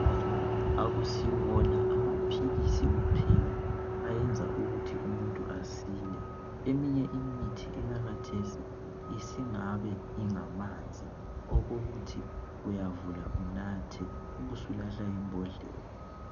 Akusiwona amaphilisi kuphela ayenza umuntu ukuthi asile. Eminye imithi eyakhathesi isingabe ingamanzi okokuthi uyavula unathe une usulahla imbodlela.